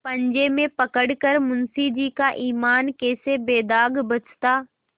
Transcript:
पंजे में पड़ कर मुंशीजी का ईमान कैसे बेदाग बचता